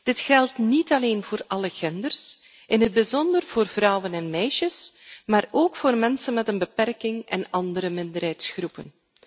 Dit geldt niet alleen voor alle genders, in het bijzonder vrouwen en meisjes, maar ook voor mensen met een beperking en andere minderheidsgroepen.